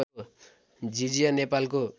झिझिया नेपालको